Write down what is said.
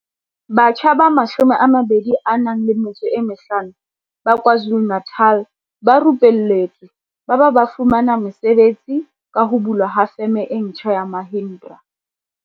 Batjha ba 25 ba KwaZulu-Natal ba rupelletswe ba ba ba fumana mesebetsi ka ho bulwa ha Feme e ntjha ya Mahindra.